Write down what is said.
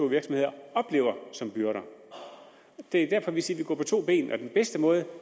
virksomheder oplever som byrder det er derfor vi siger at vi går på to ben og den bedste måde